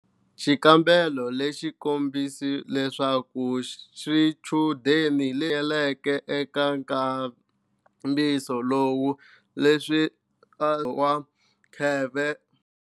Xikambelo lexi kombise leswaku swichudeni hlanganyeleke eka nkambisiso lowu, leswi khale wa kheve.